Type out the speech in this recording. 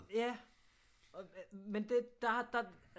Ja men der